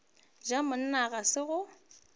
ja monna ga se go